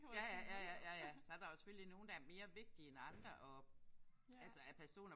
Ja ja. Ja ja. Ja ja. Så er der jo selvfølgelig nogen der er mere vigtige end andre og altså af personer